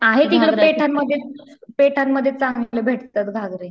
आहे तिकडं पेठांमध्ये, पेठांमध्ये चांगले भेटतात घागरे.